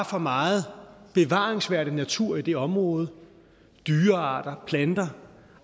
for meget bevaringsværdig natur i det område dyrearter planter